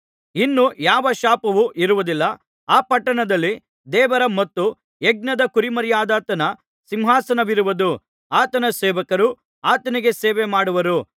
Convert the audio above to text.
ಇನ್ನೂ ಯಾವ ಶಾಪವು ಇರುವುದಿಲ್ಲ ಆ ಪಟ್ಟಣದಲ್ಲಿ ದೇವರ ಮತ್ತು ಯಜ್ಞದ ಕುರಿಮರಿಯಾದಾತನ ಸಿಂಹಾಸನವಿರುವುದು ಆತನ ಸೇವಕರು ಆತನಿಗೆ ಸೇವೆ ಮಾಡುವರು